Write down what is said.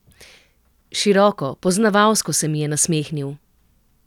Široko, poznavalsko se mi je nasmehnil.